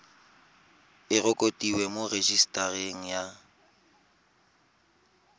e rekotiwe mo rejisetareng ya